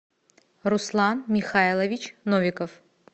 руслан михайлович новиков